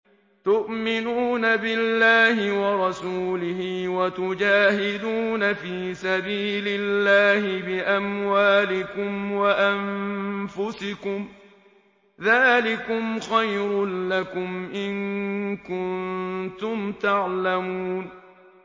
تُؤْمِنُونَ بِاللَّهِ وَرَسُولِهِ وَتُجَاهِدُونَ فِي سَبِيلِ اللَّهِ بِأَمْوَالِكُمْ وَأَنفُسِكُمْ ۚ ذَٰلِكُمْ خَيْرٌ لَّكُمْ إِن كُنتُمْ تَعْلَمُونَ